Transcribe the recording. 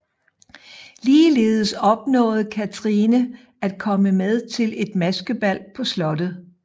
Ligeledes opnåede Cathrine at komme med til et maskebal på slottet